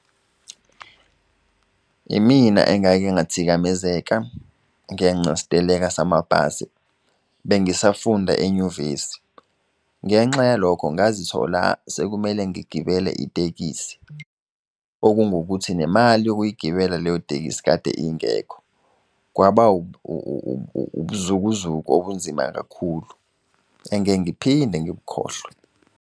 Imina engake ngathikamezeka ngenca steleka samabhasi bengisafunda enyuvesi ngenxa yalokho ngazithola sekumele ngigibele tekisi. Okungukuthi nemali yokuyigibela leyo itekisi kade ingekho. Kwaba ubuzukuzuku obunzima kakhulu engeke ngiphinde ngibukhohlwe.